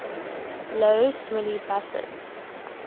lough swilly buses